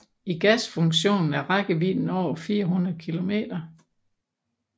I gasfunktionen er rækkevidden over 400 kilometer